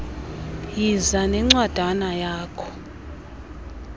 yiza nencwadana yakho